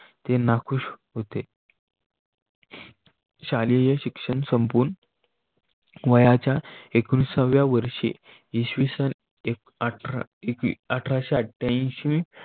नखुश होते. शालेय शिक्षण संपून वयाच्या एकोणविसाव्या वर्षी इसवी सन अठरा अठराशेआठ्यानशी मध्ये